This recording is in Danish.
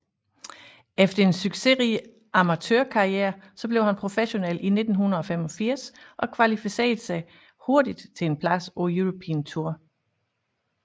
Efter en succesrig amatørkarriere blev han professionel i 1985 og kvalificerede sig hurtigt til en plads på European Tour